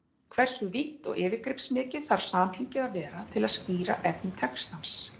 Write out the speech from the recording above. Hversu vítt og yfirgripsmikið þarf samhengið að vera til að skýra efni textans?